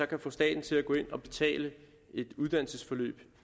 kan få staten til at gå ind og betale et uddannelsesforløb